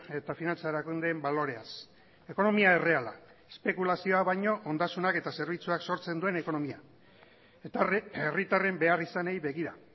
eta finantza erakundeen baloreaz ekonomia erreala espekulazioa baino ondasunak eta zerbitzuak sortzen duen ekonomia eta herritarren beharrizanei begira